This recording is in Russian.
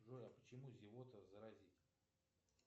джой а почему зевота заразительна